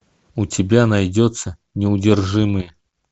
у тебя найдется неудержимые